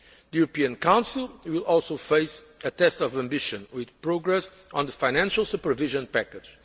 The European Council will also face a test of ambition with progress on the financial supervision package.